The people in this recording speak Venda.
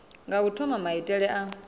nga u thoma maitele a